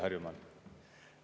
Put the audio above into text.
Harjumaal.